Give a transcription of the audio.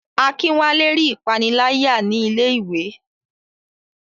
Akinwale rí ìpániláyà ní ilé iwé.